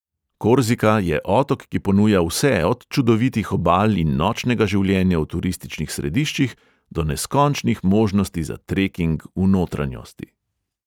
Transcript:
Korzika je otok, ki ponuja vse od čudovitih obal in nočnega življenja v turističnih središčih do neskončnih možnosti za treking v notranjosti.